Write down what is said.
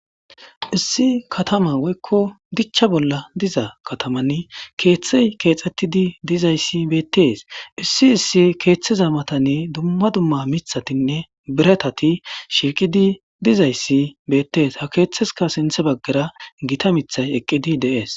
issi katama woykko dichcha bolla diza katamanni keeththey keexxettidi dizayssi beettees issi issi keeththeza matani dumma dumma mithatinne biratati shiqidi dizayssi beettees ha keeththeska sinthe baggara gita mithay eqqidi de'es